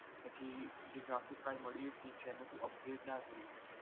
પછી તારે graphic card મળ્યું પછી તેને તું upgrade ના કરી શકે.